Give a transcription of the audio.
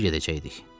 Necə gedəcəkdik?